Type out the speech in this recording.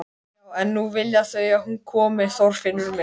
Já en nú vilja þau að hún komi, Þorfinnur minn.